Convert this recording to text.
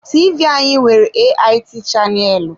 TV anyị nwere AIT chaneelu.